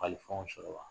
Kalifaw sɔrɔ wa